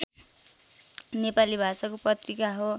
नेपाली भाषाको पत्रिका हो